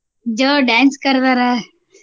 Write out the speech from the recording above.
Joe~ dance ಕರದಾರ.